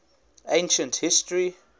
ancient history